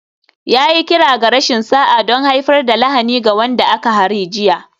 Ya yi kira ga rashin sa'a don haifar da lahani ga wanda aka hari jiya